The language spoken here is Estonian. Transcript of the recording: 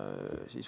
Aitäh, hea Indrek!